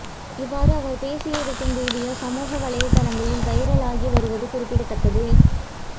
இவ்வாறு அவர் பேசியிருக்கும் வீடியோ சமூக வலைதளங்களில் வைரலாகி வருவது குறிப்பிடத்தக்கது